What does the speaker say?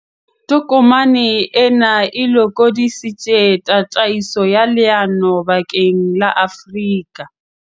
Tokomane ena e lokodisitse tataiso ya leano bakeng la Afrika